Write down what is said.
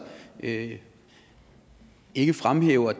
ikke ikke fremhæver